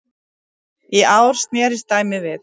Í ár snerist dæmið við.